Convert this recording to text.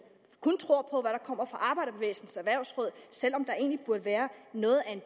kun tror på hvad kommer fra arbejderbevægelsens erhvervsråd selv om der egentlig burde være noget af